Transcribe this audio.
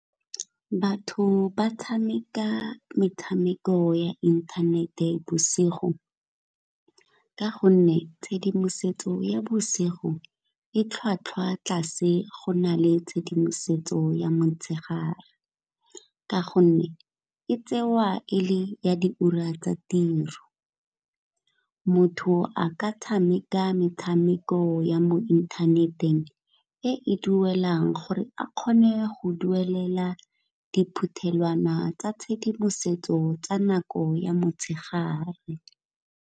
Batho ba tshameka metshameko ya inthanete bosigo ka gonne tshedimosetso ya bosigo e tlhwatlhwa tlase go na le tshedimosetso ya motshegare, ka gonne e tsewa e le ya di ura tsa tiro. Motho a ka tshameka metshameko ya mo inthaneteng e e duelang gore a kgone go duelela diphuthelwana tsa tshedimosetso tsa nako ya motshegare.